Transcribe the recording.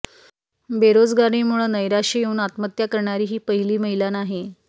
बेरोजगारीमुळं नैराश्य येऊन आत्महत्या करणारी ही पहिली महिला नाही